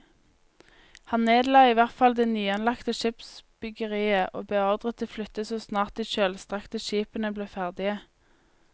Han nedla i hvert fall det nyanlagte skipsbyggeriet og beordret det flyttet så snart de kjølstrakte skipene ble ferdige.